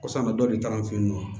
Kosa bɛ dɔ de ta an fɛ yen nɔ